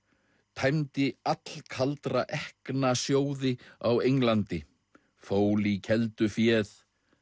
tæmdi allkaldra ekkna sjóði á Englandi fól í keldu féð